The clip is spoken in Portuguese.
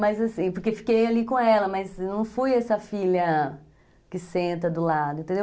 Mas assim, porque fiquei ali com ela, mas não fui essa filha que senta do lado, entendeu?